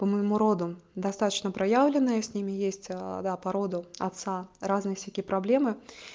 по-моему роду достаточно проявлены с ними есть да породу отца разные всякие проблемы